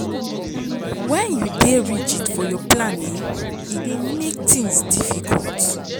Wen you dey rigid for your plan, um e dey make tins difficult.